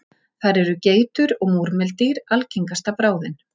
Þar eru geitur og múrmeldýr algengasta bráðin.